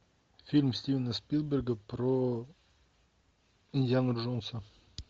фильм стивена спилберга про индиану джонса